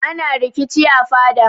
Ana rikici a fada.